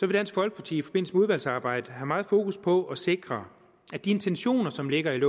dansk folkeparti i forbindelse med udvalgsarbejdet have meget fokus på at sikre at de intentioner som ligger i